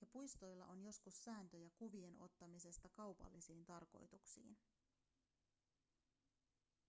ja puistoilla on joskus sääntöjä kuvien ottamisesta kaupallisiin tarkoituksiin